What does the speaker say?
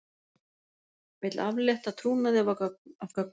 Vill aflétta trúnaði af gögnum